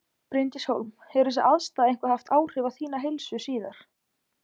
Bryndís Hólm: Hefur þessi aðstaða eitthvað haft áhrif á þína heilsu síðar?